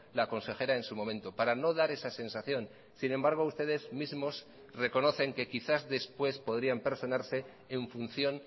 la consejera en su momento para no dar esa sensación sin embargo ustedes mismos reconocen que quizás después podrían personarse en función